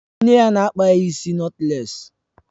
Nne ya na-akpa ya ịsị nọtlés